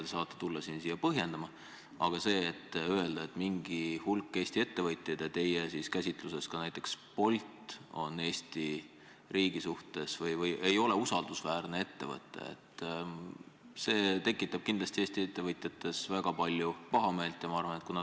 Te saate tulla seda siia põhjendama, aga öelda, et mingi hulk Eesti ettevõtjaid, teie käsituse järgi ka näiteks Bolt, ei ole Eesti riigi silmis usaldusväärsed, tekitab kindlasti Eesti ettevõtjates väga palju pahameelt.